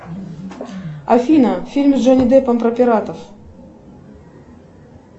афина фильм с джонни деппом про пиратов